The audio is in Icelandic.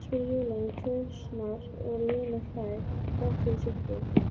spyr Júlía enn hvefsnari og Lena hlær þrátt fyrir sjokkið.